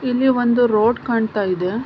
ಇಲ್ಲಿ ಒಂದು ರೋಡ್ ಕಾಣತ್ತಾಯಿದೆ.